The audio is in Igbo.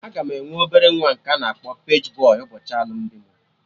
Aga m enwe obere nwa nke a na-akpọ paji bọy ụbọchị alụmdi mụ